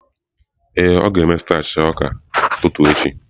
Ee, ọ ga-eme starch ọka echi ụtụtụ.